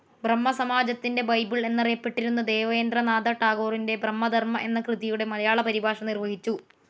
ബ്രഹ്മ സമാജത്തിന്റെ ബൈബിൾ എന്നറിയപ്പെട്ടിരുന്ന ദേവേന്ദ്ര നാഥ ടാഗോറിന്റെ ബ്രഹ്മധർമ്മ എന്ന കൃതിയുടെ മലയാള പരിഭാഷ നിർവഹിച്ചു.